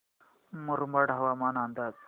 मुरबाड हवामान अंदाज